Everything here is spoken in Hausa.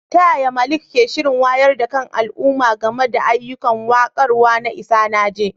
Ta yaya Malik ke shirin wayar da kan al'umma game da ayyukan warkarwa na Isanaje?